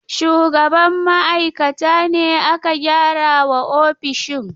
Shugaban ma'aikata ne aka gyara wa ofishin.